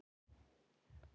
Henni verður ekki haggað.